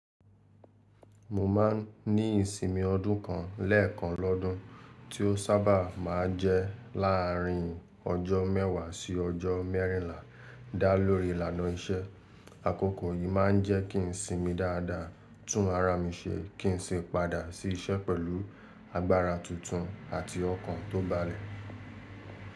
Mo máa ń ní ìsinmi ọdún kan lẹ́ẹ̀kan lọ́dún, tí ó sábà máa ń jẹ́ láàrin ọjọ́ mẹ́wàá sí ọjọ́ mẹ́rìnlá dá lórí ìlànà iṣẹ́. Àkókò yìí má ń jẹ́ kí n sinmi dáadáa, tún ara mi ṣe kí n sì padà sí iṣẹ́ pẹ̀lú agbára tuntun àti ọkàn tó balẹ̀.